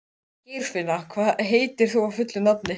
Geirfinna, hvað heitir þú fullu nafni?